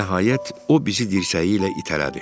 Nəhayət, o bizi dirsəyi ilə itələdi.